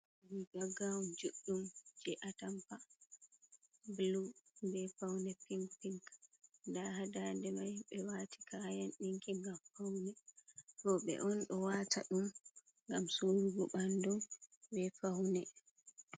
Riga gawun juɗɗum je atampa bulu be faune pink pink, nda hadade mai ɓe wati kayan ɗinki ngam faune, roɓe on ɗo wata ɗum ngam surugo ɓandum ɓe faune.